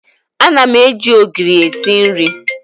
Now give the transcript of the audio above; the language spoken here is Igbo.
Ana m eji ogiri esi nri.